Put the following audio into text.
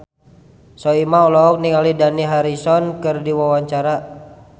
Soimah olohok ningali Dani Harrison keur diwawancara